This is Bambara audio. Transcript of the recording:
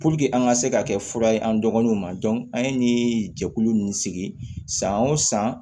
an ka se ka kɛ fura ye an dɔgɔninw ma an ye nin jɛkulu nunnu sigi san o san